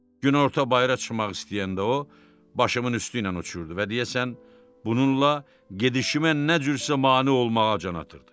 Günorta bayıra çıxmaq istəyəndə o, başımın üstü ilə uçurdu və deyəsən bununla gedişimə nə cürsə mane olmağa can atırdı.